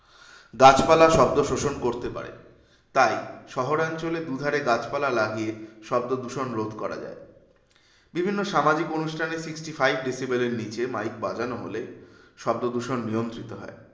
গাছপালা শব্দ শোষণ করতে পারে। তাই শহরাঞ্চলে দুধারে গাছপালা লাগিয়ে শব্দদূষণ রোধ করা যায়। বিভিন্ন সামাজিক অনুষ্ঠানে sixty-five decibel এর নিচে mike বাজানো হলে শব্দদূষণ নিয়ন্ত্রিত হয়।